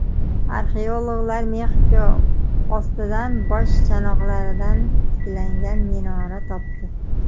Arxeologlar Mexiko ostidan bosh chanoqlaridan tiklangan minora topdi.